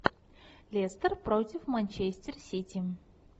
лестер против манчестер сити